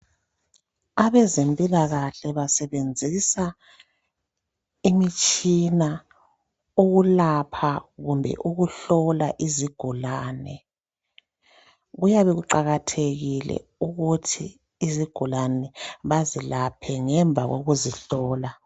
Abezempilakahle basebenzisa imitshina ukulapha kumbe ukuhlola izigulane. Kuyabe kuqakathekile ukuthi izigulane bazilaphe ngemva kokuzihlola.